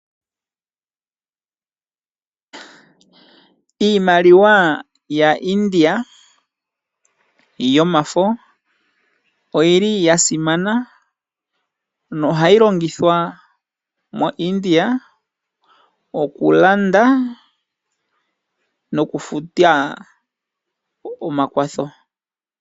Iimaliwa ya India yomafo oyili ya simana no hati longithwa mo India oku Landa nokufuta omakwatho.